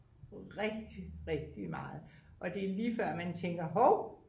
rigtig rigtig meget og det er lige før man tænker hov